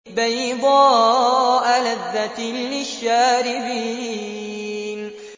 بَيْضَاءَ لَذَّةٍ لِّلشَّارِبِينَ